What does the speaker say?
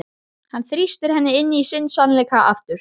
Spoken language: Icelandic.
Hann þrýstir henni inn í sinn sannleika aftur.